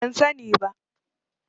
Ban sani ba.